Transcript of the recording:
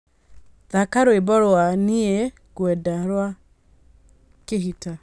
thaka rwĩmbo rwa nĩ ngwenda rwa khitta